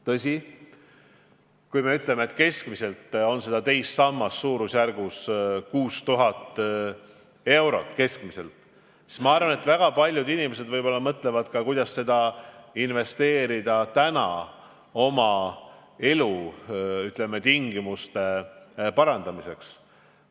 Tõsi, kui me teame, et keskmiselt on teises sammas 6000 eurot, siis ma arvan, et väga paljud inimesed võib-olla mõtlevad seda kasutada oma elutingimuste parandamiseks.